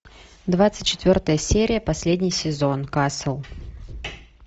двадцать четвертая серия последний сезон касл